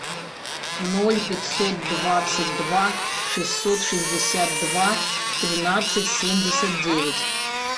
ноль пятьсот двадцать два шестьсот шестьдесят два тринадцать семьдесят девять